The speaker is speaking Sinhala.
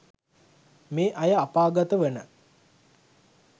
මේ අය අපාගත වන